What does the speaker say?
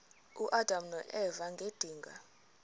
uadam noeva ngedinga